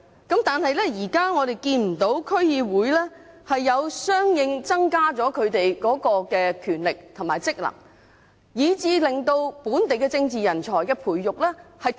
但是，我們現在看不到區議會的權力和職能獲相應增加，以致本地政治人才的培育出現斷層。